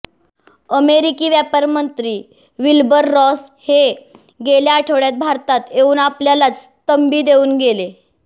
अमेरिकी व्यापारमंत्री Wilbur Ross हे गेल्या आठवडय़ात भारतात येऊन आपल्यालाच तंबी देऊन गेले